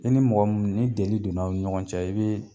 I ni mɔgɔ mun ni deli don na a' ni ɲɔgɔn cɛ i bɛ